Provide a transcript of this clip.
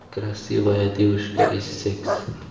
красивая девушка и секс